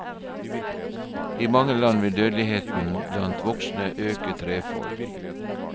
I mange land vil dødeligheten blant voksne øke trefold.